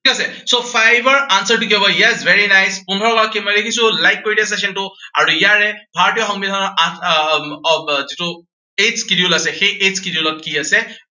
ঠিক আছে, so five ৰ answer টো কি হব। ইয়াত yes, very nice পোন্ধৰগৰাকী মই দেখিছো like কৰি দিয়া session টো আৰু ইয়াৰে ভাৰতীয় সংবিধানৰ আঠ আহ আহ যিটো eighth schedule আছে, সেই eighth schedule ত কি আছে